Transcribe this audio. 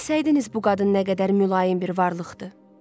Bilsəydiniz bu qadın nə qədər mülayim bir varlıqdır.